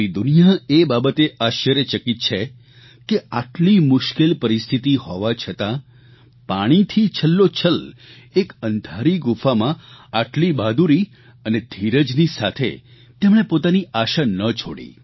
પૂરી દુનિયા એ બાબતે આશ્ચર્યચકિત છે કે આટલી મુશ્કેલ પરિસ્થિતિ હોવા છતાં પાણીથી છલોછલ એક અંધારી ગુફામાં આટલી બહાદુરી અને ધીરજની સાથે તેમણે પોતાની આશા ન છોડી